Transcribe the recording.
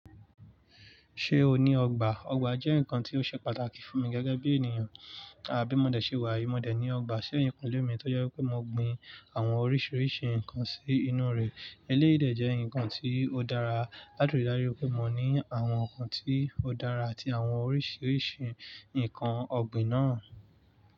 Ṣé o ní ọgbà? Ọgbà jẹ́ nǹkan tí ó ṣe pàtàkì fún mi gẹ́gẹ́ bí ènìyàn. À bí mo dẹ̀ ṣe wà, mo dẹ̀ ní ọgbà sí ẹ̀yìnkúlé mi tó jẹ́ wípé mo gbin àwọn oríṣiríṣi nǹkan sí inú rè. Eléyìí dẹ̀ jẹ́ ǹkan tí ó dára, láti rí dájú wípé mo ní àwọn ǹkan tí ó dára àti àwọn oríṣiríṣi nǹkan ọ̀gbìn náà.